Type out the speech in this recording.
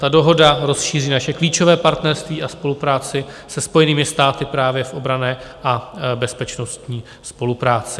Ta dohoda rozšíří naše klíčové partnerství a spolupráci se Spojenými státy právě v obranné a bezpečnostní spolupráci.